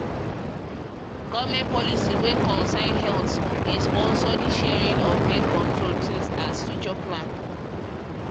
government policy wey concern healthdey sponsor the sharing of birth-control things as future plans